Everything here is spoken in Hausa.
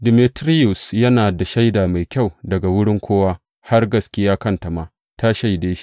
Demetiriyus yana da shaida mai kyau daga wurin kowa, har gaskiya kanta ma ta shaide shi.